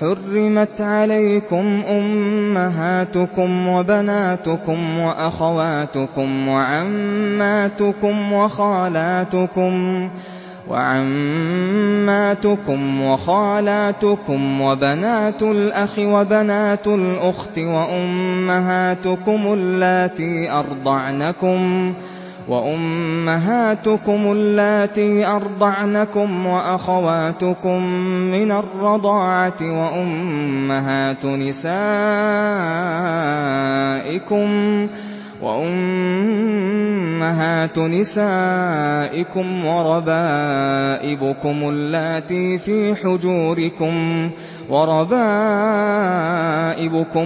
حُرِّمَتْ عَلَيْكُمْ أُمَّهَاتُكُمْ وَبَنَاتُكُمْ وَأَخَوَاتُكُمْ وَعَمَّاتُكُمْ وَخَالَاتُكُمْ وَبَنَاتُ الْأَخِ وَبَنَاتُ الْأُخْتِ وَأُمَّهَاتُكُمُ اللَّاتِي أَرْضَعْنَكُمْ وَأَخَوَاتُكُم مِّنَ الرَّضَاعَةِ وَأُمَّهَاتُ نِسَائِكُمْ وَرَبَائِبُكُمُ